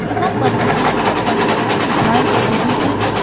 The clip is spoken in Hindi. यहां पर मुझे बहुत बड़ी शॉप दिखाई दे रही है।